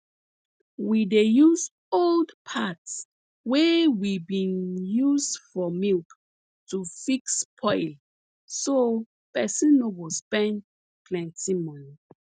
we dey use old parts wey we bin use for milk to fix spoil so person no go spend plenti money